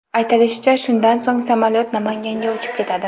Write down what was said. Aytilishicha, shundan so‘ng samolyot Namanganga uchib ketadi.